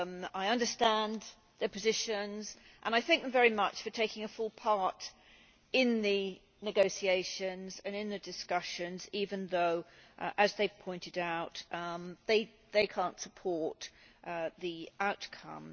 I understand their positions and I thank them very much for taking a full part in the negotiations and in the discussions even though, as they pointed out, they cannot support the outcome.